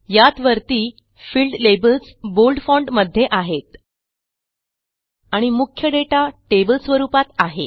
यात वरती field labels bold font मध्ये आहेत आणि मुख्य दाता टेबल स्वरूपात आहे